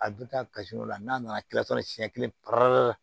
A bɛ taa kasi dɔ la n'a nana kila siɲɛ kelen per